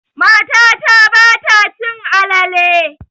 Matata ba ta cin alale.